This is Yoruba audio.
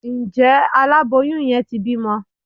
njẹ àláboyún yen tí bimò